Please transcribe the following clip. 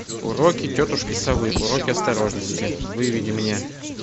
уроки тетушки совы уроки осторожности выведи мне